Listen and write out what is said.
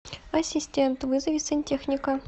ассистент вызови сантехника